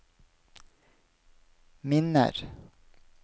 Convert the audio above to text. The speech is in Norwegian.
minner